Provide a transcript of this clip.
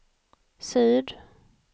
syd